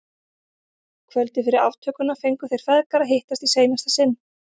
Kvöldið fyrir aftökuna fengu þeir feðgar að hittast í seinasta sinn.